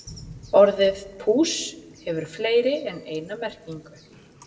Orðið púss hefur fleiri en eina merkingu.